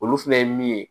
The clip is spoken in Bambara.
Olu fɛnɛ ye min ye